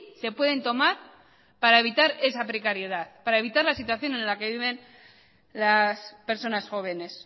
se pueden tomar para evitar esa precariedad para evitar la situación en la que viven las personas jóvenes